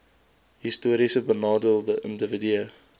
historiese benadeelde individue